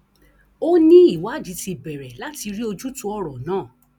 ó ní ìwádìí ti bẹrẹ láti rí ojútùú ọrọ náà